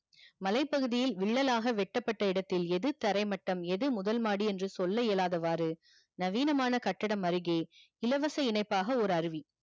மலை பகுதியில் வில்லலாக வெட்ட பட்ட இடத்தில் எது தரை மட்டம் எது முதல் மாடி என்று சொல்ல இயலாத வாறு நவீனமான கட்டிடம் அருகே இலவச இணைப்பாக ஒரு அருவி